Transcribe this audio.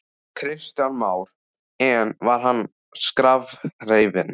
Kristján Már: En var hann skrafhreifinn?